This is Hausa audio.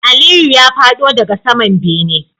Aliyu ya fado daga saman bene